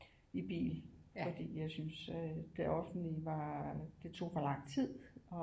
I bil fordi jeg synes at det offentlige var det tog for lang tid og